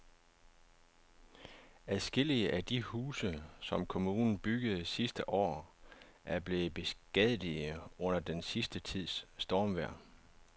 Adskillige af de huse, som kommunen byggede sidste år, er blevet beskadiget under den sidste tids stormvejr.